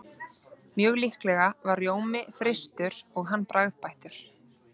Mjög líklega var rjómi frystur og hann bragðbættur.